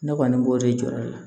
Ne kɔni b'o de jɔra ne la